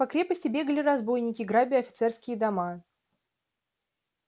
по крепости бегали разбойники грабя офицерские дома